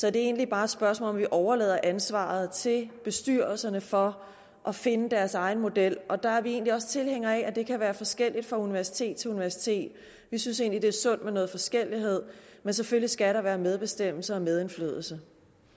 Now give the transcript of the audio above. er egentlig bare et spørgsmål om at vi overlader ansvaret til bestyrelserne for at finde deres egen model og der er vi også tilhængere af at det kan være forskelligt fra universitet til universitet vi synes egentlig det er sundt med noget forskellighed men selvfølgelig skal der være medbestemmelse og medindflydelse